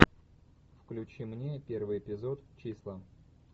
включи мне первый эпизод числа